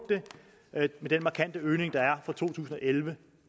med den markante øgning der er fra to tusind og elleve